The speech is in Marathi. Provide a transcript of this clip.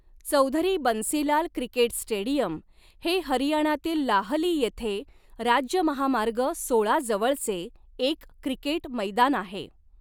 चौधरी बन्सीलाल क्रिकेट स्टेडियम हे हरियाणातील लाहली येथे राज्य महामार्ग सोळा जवळचे एक क्रिकेट मैदान आहे.